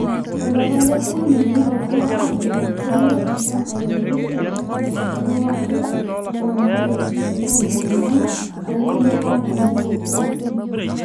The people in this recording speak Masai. tolapa le okuni neitolu aajo kelo enchan aiteru te dekadi e are o metabaiki dekadi ong`uan too nkulie kauntini ilo kekun.